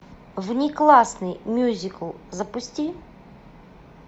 внеклассный мюзикл запусти